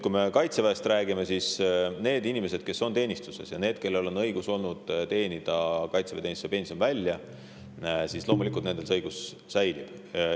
Kui me Kaitseväest räägime, siis nendel inimestel, kes on teenistuses ja kellel on olnud õigus kaitseväeteenistuse pension välja teenida, loomulikult see õigus säilib.